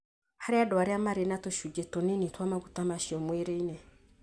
harĩ andũ arĩa marĩ na tũcunjĩ tũnini twa maguta macio mwĩrĩinĩ.